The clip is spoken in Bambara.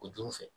O juru fɛ